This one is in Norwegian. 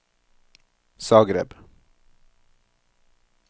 Zagreb